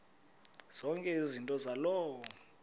zonke izinto zaloo